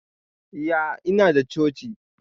Iya, Inada coci.